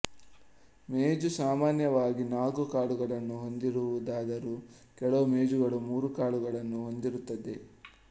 ಮೇಜು ಸಾಮಾನ್ಯವಾಗಿ ನಾಲ್ಕು ಕಾಲುಗಳನ್ನು ಹೊಂದಿರುವುದಾದರೂ ಕೆಲವು ಮೇಜುಗಳು ಮೂರು ಕಾಲುಗಳನ್ನು ಹೊಂದಿರುತ್ತವೆ